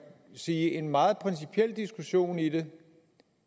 sige en meget principiel diskussion i det